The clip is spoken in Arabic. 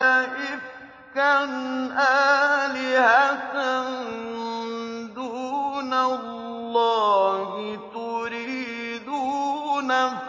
أَئِفْكًا آلِهَةً دُونَ اللَّهِ تُرِيدُونَ